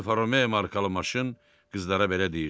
Alfa Romeo markalı maşın qızlara belə deyirdi: